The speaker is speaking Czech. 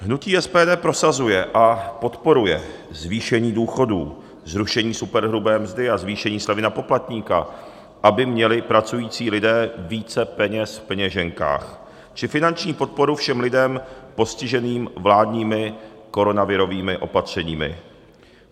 Hnutí SPD prosazuje a podporuje zvýšení důchodů, zrušení superhrubé mzdy a zvýšení slevy na poplatníka, aby měli pracující lidé více peněz v peněženkách, či finanční podporu všem lidem postiženým vládními koronavirovými opatřeními.